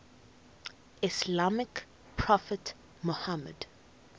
islamic prophet muhammad